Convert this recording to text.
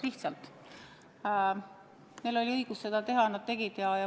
Lihtsalt neil oli õigus seda teha ja nad tegid seda.